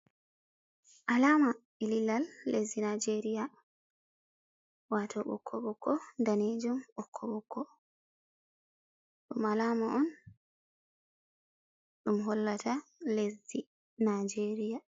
Alama lilal lesdi Nijeria, waato ɓokko-ɓokko, daneejum, ɓokko-ɓokko. Ɗum alama on ɗum hollata lesdi Nijeria.